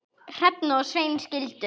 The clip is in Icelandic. Hrefna og Sveinn skildu.